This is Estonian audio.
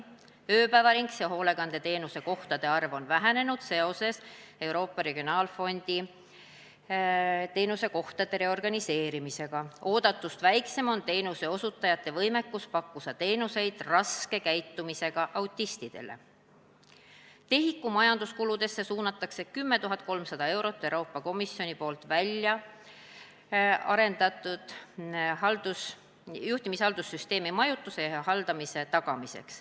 TEHIK-u majandamiskuludesse suunatakse 10 300 eurot Euroopa Komisjoni poolt välja arendatud EESSI juhtumihaldussüsteemi majutuse ja haldamise tagamiseks.